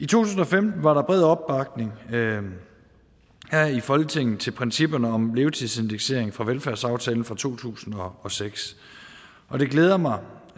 tusind og femten var der bred opbakning her i folketinget til principperne om levetidsindeksering fra velfærdsaftalen fra to tusind og seks og det glæder mig